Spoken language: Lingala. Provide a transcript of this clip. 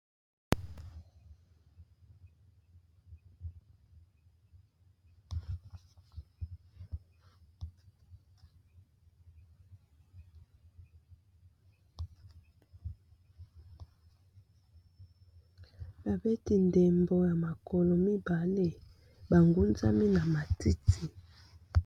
babeti ndembo ya makolo mibale bangunzami na matiti